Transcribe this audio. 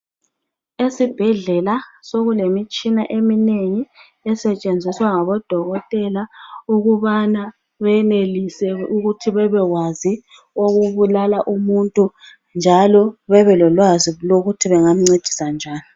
Esibhedlela sokulemitshina eminengi esetshenziswa ngabodokotela ukubana benelise ukuthi bebekwazi okubulala umuntu njalo babe lolwazi ukuthi bengamncedisa njani